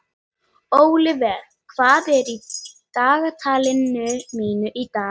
Ólíver, hvað er í dagatalinu mínu í dag?